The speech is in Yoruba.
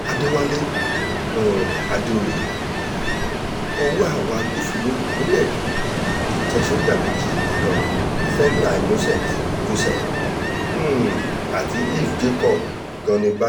àdẹ̀wálé um àdèoyè ọwọ́ àwọn agbófinró ìpínlẹ̀ èkó ti tẹ sọ́jà méjì kan centre innocent joseph um àti efl jacob gani báyìí